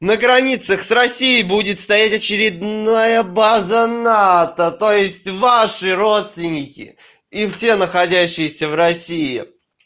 на границах с россией будет стоять очередная база нато то есть ваши родственники и все находящиеся в россии